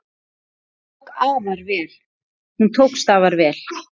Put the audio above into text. Hún tókst afar vel.